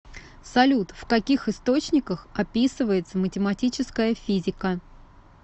салют в каких источниках описывается математическая физика